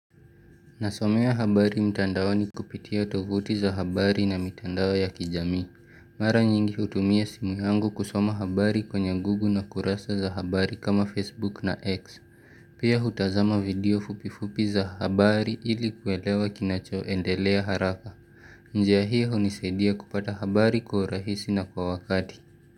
Nasomew habari mtandao ni kupitia tovuti za habari na mtandao ya kijamii. Mara nyingi hutumia simu yangu kusoma habari kwenye google na kurasa za habari kama Facebook na X. Pia hutazama video fupifupi za habari ili kwelewa kinachoendelea haraka. Njia hiyo hunisaidia kupata habari kwa rahisi na kwa wakati.